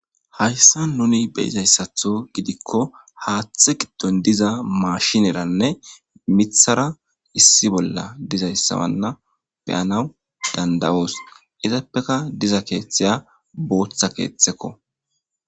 Hayssa nuni beyizayssatho gidikko haaththe giddon diza maashineranne mithara issi bolla dizayssawanna beyanawu dandayoos izappeka diza keeththeya booththa keeththekko.